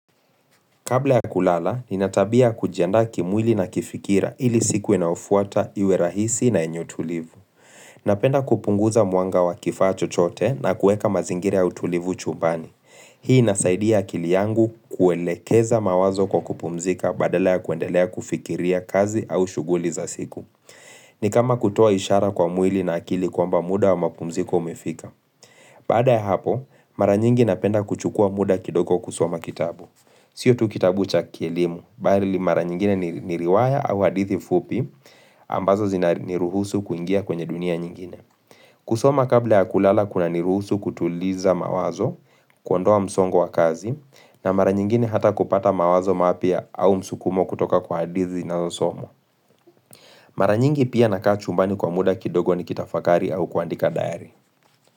Kabla ya kulala, nina tabia ya kujianda kimwili na kifikira ili siku inayofuata, iwe rahisi na yenye utulivu. Napenda kupunguza mwanga wa kifaa chochote na kueka mazingira ya utulivu chumbani. Hii nasaidia akili yangu kuelekeza mawazo kwa kupumzika badala ya kuendelea kufikiria kazi au shughuli za siku. Ni kama kutoa ishara kwa mwili na akili kwamba muda wa mapumziko umifika. Baada ya hapo, mara nyingi napenda kuchukua muda kidoko kusoma kitabu. Sio tu kitabu cha kielimu, bali mara nyingine ni riwaya au hadithi fupi, ambazo zinaruhusu kuingia kwenye dunia nyingine. Kusoma kabla ya kulala kunaniruhusu kutuliza mawazo, kuondoa msongo wa kazi, na mara nyingine hata kupata mawazo mapya au msukumo kutoka kwa hadithi inayosomwa Mara nyingi pia nakaa chumbani kwa muda kidogo nikitafakari au kuandika dayari.